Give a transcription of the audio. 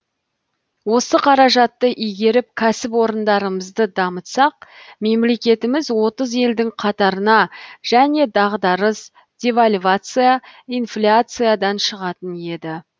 осы қаражатты игеріп кәсіпорындарымызды дамытсақ мемлекетіміз отыз елдің қатарына және дағдарыс девальвация инфляциядан шығатын еді